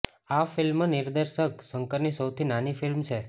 આ ફિલ્મ નિર્દેશક શંકરની સૌથી નાની ફિલ્મ છે